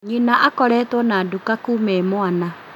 Nyina akoretwo na nduka kuma e mwana